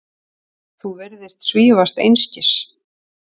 Þú virðist svífast einskis.